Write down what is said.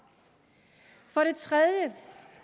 for det tredje